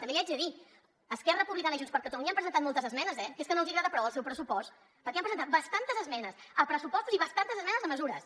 també li haig de dir esquerra republicana i junts per catalunya han presentat moltes esmenes eh que és que no els agrada prou el seu pressupost perquè han presentat bastantes esmenes a pressupostos i bastantes esmenes a mesures